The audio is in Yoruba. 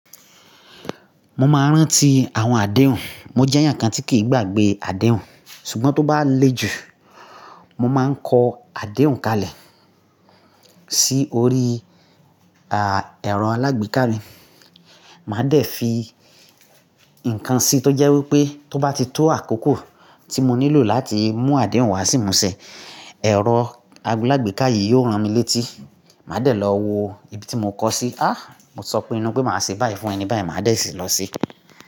Mo máa ń rántí àwọn àdéhùn. Mo jẹ́ ǹkan tí kì í gbàgbé àdéhùn, ṣùgbọ́n tó bá le jù, mo máa ń kọ àdéhùn kalẹ̀ sí orí, à, ẹ̀rọ alágbéká mi. Màá dẹ̀ fi ǹkan sí tó jẹ́ wípé tó bá ti tó àkókò tí mo nílò láti mú àdéhùn wá sí ìmu ṣe, ẹ̀rọ alágbéka yìí yóò rán mi létí. Màá dẹ̀ lọ wo ibi tí mo kọ sí. Á! Mo sọ pé inú pé màá ṣe báyìí fún ẹni báyìí, màá dẹ̀ sì lọ sí.